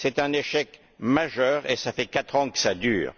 C'est un échec majeur et cela fait quatre ans que cela dure.